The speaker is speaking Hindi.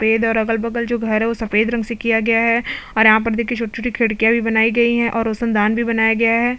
सफ़ेद है और अगल-बगल जो घर है जो सफ़ेद रंग की किया गया है और यहाँ पर देखिये छोटी-छोटी खिड़किया भी बनाई गई है और रोशन दान भी बनाया गया है।